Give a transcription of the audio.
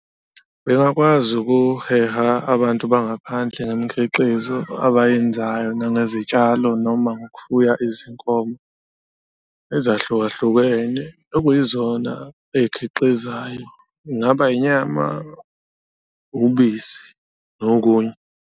Bengakwazi ukuheha abantu bangaphandle ngemikhiqizo abayenzayo nangezitshalo noma ngokufuya izinkomo ezahlukahlukene okuyizona eyikhiqizayo, ingaba inyama, ubisi nokunye.